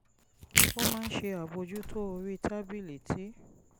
ó máa ń ṣe àbójútó orí tábìlì tí